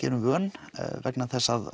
erum vön vegna þess að